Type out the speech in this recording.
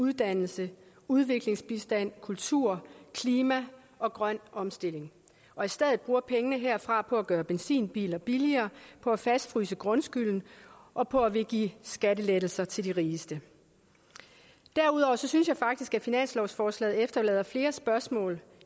uddannelse udviklingsbistand kultur klima og grøn omstilling og i stedet bruger pengene herfra på at gøre benzinbiler billigere på at fastfryse grundskylden og på at ville give skattelettelser til de rigeste derudover synes jeg faktisk at finanslovsforslaget efterlader flere spørgsmål